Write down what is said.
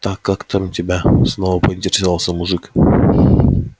так как тебя там снова поинтересовался мужик